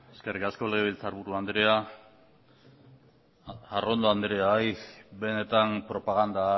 eskerrik asko legebiltzarburu anderea arrondo anderea benetan propaganda